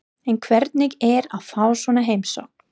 En hvernig er að fá svona heimsókn?